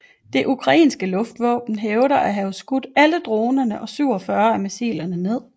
Det ukrainske luftvåben hævder at have skudt alle dronerne og 47 af missilerne ned